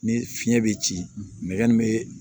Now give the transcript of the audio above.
Ni fiɲɛ be ci nɛgɛ min be